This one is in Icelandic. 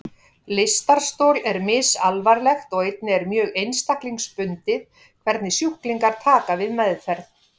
Lystarstol er misalvarlegt og einnig er mjög einstaklingsbundið hvernig sjúklingar taka við meðferð.